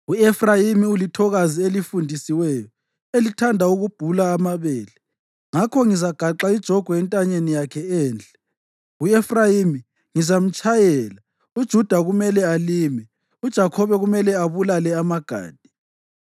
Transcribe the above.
U-Efrayimi ulithokazi elifundisiweyo elithanda ukubhula amabele; ngakho ngizagaxa ijogwe entanyeni yakhe enhle. U-Efrayimi ngizamtshayela, uJuda kumele alime uJakhobe kumele abulale amagade.